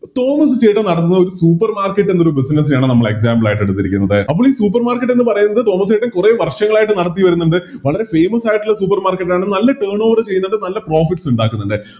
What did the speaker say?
തോമസുചേട്ടൻന്ന് പറയുന്നത് ഒരു Supermarket ൻറെ ഒരു Business നെയാണ് നമ്മള് Example ആയിട്ടെടുത്തിരിക്കുന്നത് അപ്പൊ ഈ Supermarket എന്ന് പറയുന്നത് തോമസ്സ്‌ചെട്ടൻ കുറെ വർഷങ്ങളായിട്ട് നടത്തി വേരുന്നിണ്ട് വളരെ Famous ആയിട്ടുള്ള Supermarket ആണ് നല്ല ചെയ്യുന്നുണ്ട് നല്ല Profits ഇണ്ടാക്കുന്നുണ്ട്